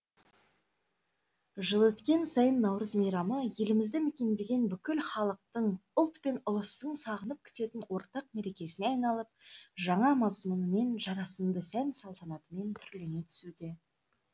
жыл өткен сайын наурыз мейрамы елімізді мекендеген бүкіл халықтың ұлт пен ұлыстың сағынып күтетін ортақ мерекесіне айналып жаңа мазмұнмен жарасымды сән салтанатымен түрлене түсуде